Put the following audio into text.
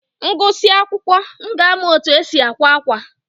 M gụsịa akwụkwọ, m ga-amụ otu e si àkwá ákwà.